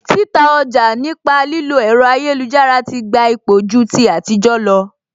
Títa ọjà nípa lílo ẹ̀rọ ayélujára ti gba ipò ju ti ayétijọ lọ